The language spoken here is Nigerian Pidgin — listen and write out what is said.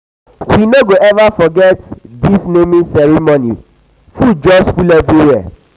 we no go um eva um forget um dis naming dis naming ceremony food just full everywhere.